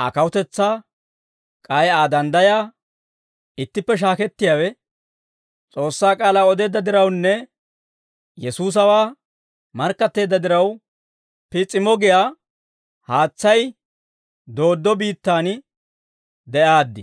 Aa kawutetsaa k'ay Aa danddayaa ittippe shaakettiyaawe, S'oossaa k'aalaa odeedda dirawunne Yesuusawaa markkatteedda diraw, Piis'imo giyaa haatsay dooddo biittaan de'aaddi.